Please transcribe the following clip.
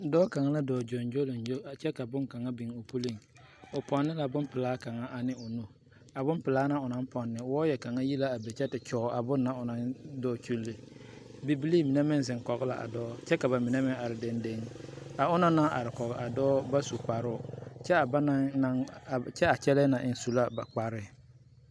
Dɔɔ kaa la doo gyogyoleŋgyo a kyɛ ka bonkaŋa biŋ o puleŋ o pone la bonpilaa kang ane o nu a bonpilaa na o naŋ poŋne waayɛ kaŋ yi be te kyoŋe a bon na o naŋ doo kyuli bibilii mine meŋ ziŋ kɔge la a dɔɔ kyɛ ka ba mine meŋ are dendiŋe a onaŋ naŋ are kɔge a dɔɔ ba su kparo kyɛ a banaŋ na kyɛ a kyɛlɛɛ eŋ su la a ba kpare.